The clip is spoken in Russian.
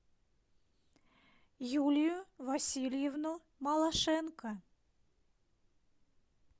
юлию васильевну малашенко